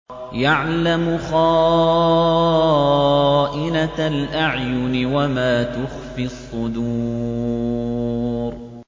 يَعْلَمُ خَائِنَةَ الْأَعْيُنِ وَمَا تُخْفِي الصُّدُورُ